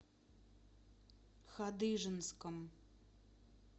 хадыженском